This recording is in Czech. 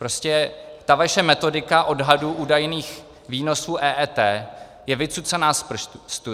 Prostě ta vaše metodika odhadů údajných výnosů EET je vycucaná z prstu.